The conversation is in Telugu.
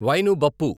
వైను బప్పు